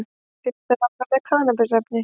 Fimmtán ára með kannabisefni